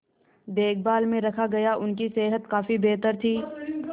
देखभाल में रखा गया उनकी सेहत काफी बेहतर थी